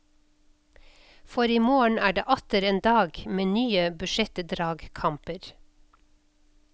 For i morgen er det atter en dag med nye budsjettdragkamper.